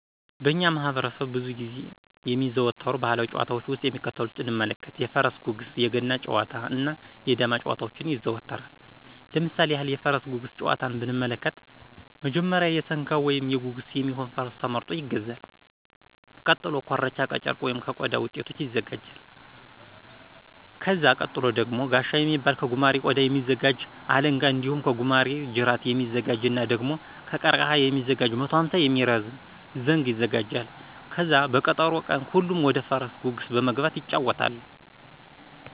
በእኛ ማህበረሠብ ብዙ ጊዜ የሚዘዎተሩ ባህላዊ ጨዋታዎች ውስጥ የሚከተሉትን እንመልከት:-የፈረስ ጉግስ~ የገና ጨዋታ እና ~ የዳማ ጨዋታዎች ይዘወተራል። ለምሳሌ ያክል:- የፈረስ ጉግስ ጨዋታን ብንመለከት መጀመሪያ የሠንጋ ወይም የጉግስ የሚሆን ፈረስ ተመርጦ ይገዛል። ቀጥሎ ኮርቻ ከጨርቅ ወይም ከቆዳ ውጤቶች ይወጋጃል። ከዛ ቀጥሎ ደግሞ ጋሻ የሚባል ከጉማሬ ቆዳ የሚዘጋጅ, አለንጋ እንዲሁም ከጉማሬ ጅራት የሚዘጋጅ እና ደግሞ ከቀርቀህ የሚዘጋጅ 150 የሚረዝም ዘንግ ይዘጋጃል። ከዛ በቀጠሮ ቀን ሁሉም ወደፈረስ ጉግስ በመግባት ይጫወታሉ።